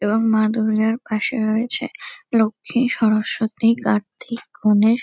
এবং মা দুর্গার পাশে রয়েছে লক্ষী সরস্বতী কার্তিক গণেশ।